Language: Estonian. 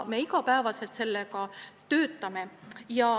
Me iga päev selle nimel töötame.